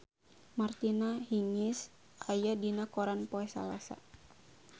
Martina Hingis aya dina koran poe Salasa